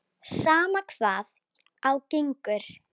Sama hvað á gengur.